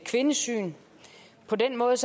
kvindesyn på den måde